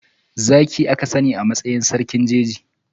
Zaki aka sani a matsayin sarkin jeji.